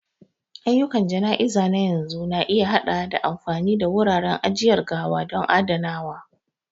Ayyukan jana'iza na yanzu na iya haɗawa da amfani da wuraren ajiyar gawa don adanawa.